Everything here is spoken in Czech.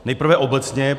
Nejprve obecně.